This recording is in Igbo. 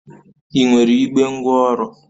Ị nwere igbe ngwaọrụ?